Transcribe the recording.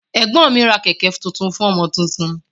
Ẹgbọn mi ra kẹkẹ tuntun fún ọmọ tuntun.